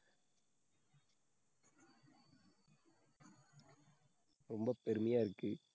ரொம்ப பெருமையா இருக்கு.